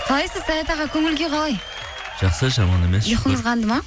қалайсыз саят аға көңіл күй қалай жақсы жаман емес ұйқыңыз қанды ма